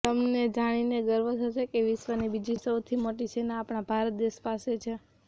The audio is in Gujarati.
તમને જાણીને ગર્વ થશે કે વિશ્વની બીજી સૌથી મોટી સેના આપણા ભારત દેશ પાસે છે